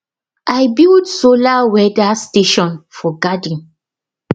i build solar weather station for garden